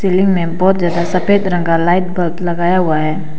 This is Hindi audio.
सीलिंग में बहुत ज्यादा सफेद रंग का लाइट बल्ब लगाया हुआ है।